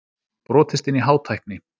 Brotist inn í Hátækni